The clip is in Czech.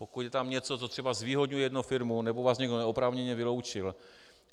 Pokud je tam něco, co třeba zvýhodňuje jednu firmu, nebo vás někdo neoprávněně vyloučil.